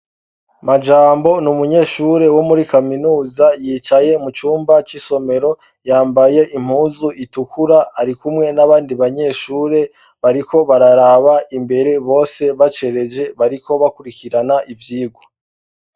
Majambo ni umunyeshure wo muri kaminuza yicaye mu cumba c'isomero. Yambaye impuzu itukura ari kumwe n'abandi banyeshure bariko bararaba imbere bose bacereje bariko bakurikirana ivyigwa.